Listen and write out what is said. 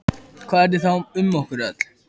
Og hvar heldurðu að þú verðir um aldamótin?